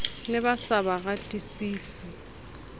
ne ba sa ba ratesise